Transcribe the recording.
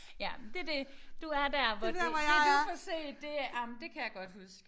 Ja men det det du er der hvor det det du får set det ej men det kan jeg godt huske